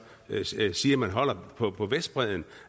siger man holder på på vestbredden